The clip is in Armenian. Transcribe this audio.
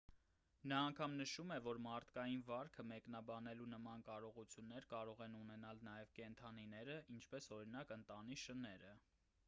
նա անգամ նշում էր որ մարդկային վարքը մեկնաբանելու նման կարողություններ կարող են ունենալ նաև կենդանիները ինչպես օրինակ ընտանի շները